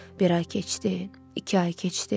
Bir ay keçdi, iki ay keçdi.